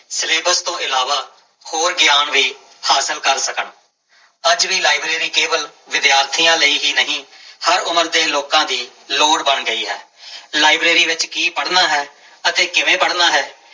Syllabus ਤੋਂ ਇਲਾਵਾ ਹੋਰ ਗਿਆਨ ਵੀ ਹਾਸਲ ਕਰ ਸਕਣ, ਅੱਜ ਵੀ ਲਾਇਬ੍ਰੇਰੀ ਕੇਵਲ ਵਿਦਿਆਰਥੀਆਂ ਲਈ ਹੀ ਨਹੀਂ ਹਰ ਉਮਰ ਦੇ ਲੋਕਾਂ ਦੀ ਲੋੜ ਬਣ ਗਈ ਹੈ ਲਾਇਬ੍ਰੇਰੀ ਵਿੱਚ ਕੀ ਪੜ੍ਹਨਾ ਹੈ ਅਤੇ ਕਿਵੇਂ ਪੜ੍ਹਨਾ ਹੈ।